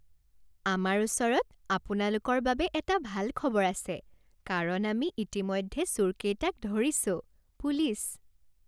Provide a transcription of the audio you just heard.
আমাৰ ওচৰত আপোনালোকৰ বাবে এটা ভাল খবৰ আছে কাৰণ আমি ইতিমধ্যে চোৰকেইটাক ধৰিছোঁ। পুলিচ